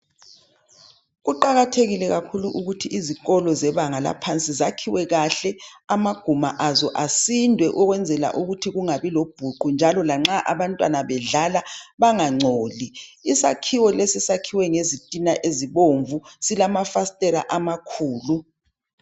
Kuqakathekile kakhulu ukuthi izikolo zebanga laphansi zakhiwe kahle, amaguma azo asindwe ukwenzela ukuthi kungabi lobhuqu, njalo lanxa abantwana bedlala bangangcoli. Isakhiwo lesi sakhiwe ngezitina ezibomvu, silama fastela amakhulu.